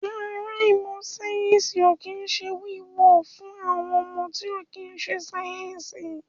Yàrá ìmọ̀ sáyẹ̀nsì ò kín ń ṣe wíwọ̀ fún ọmọ tí ò kín ń ṣe sáyẹ̀nsì